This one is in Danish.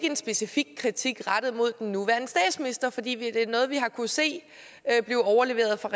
en specifik kritik rettet mod den nuværende statsminister for det er noget vi har kunnet se blive overleveret fra